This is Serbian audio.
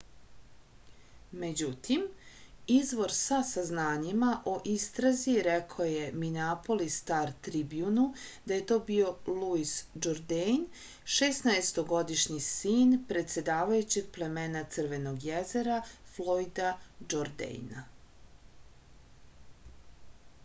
međutim izvor sa saznanjima o istrazi rekao je mineapolis star-tribjunu da je to bio luis džordejn šesnaestogodišnji sin predsedavajućeg plemena crvenog jezera flojda džordejna